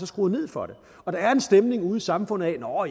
skruet ned for det og der er en stemning ude i samfundet hvor